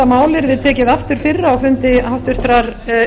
yrði tekið aftur fyrir á fundi háttvirtur